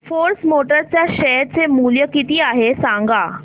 force Motors च्या share चे मूल्य किती आहे सांगा